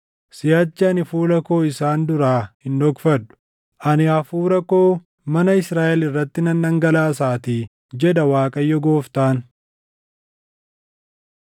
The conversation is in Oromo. Siʼachi ani fuula koo isaan duraa hin dhokfadhu; ani Hafuura koo mana Israaʼel irratti nan dhangalaasaatii, jedha Waaqayyo Gooftaan.”